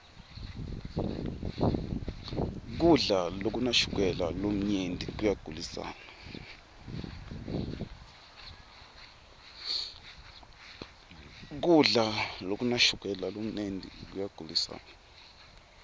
kudla lokunashukela lomunyenti koyagulisana